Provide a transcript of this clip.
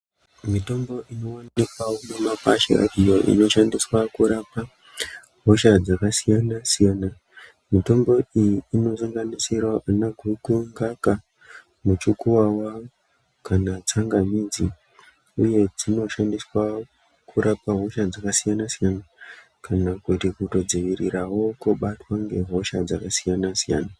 Mitombo inoonekwa mumakwasha iyo inoshandiswa kurapa hosha dzakasiyana siyana mitombo iyi inosanganisira ana guku mukaka muchiku kana tsangamidzi iyowu unoshnadiswa kurapa hosha dzakasiyana siyana kana kutodzivirirawo kubatwa ngehosha dzakasiyana siyana.